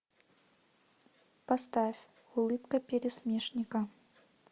поставь улыбка пересмешника